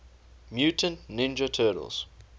mutant ninja turtles